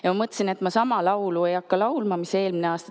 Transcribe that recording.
Ja ma mõtlesin, et ma sama laulu ei hakka laulma, mis eelmine aasta.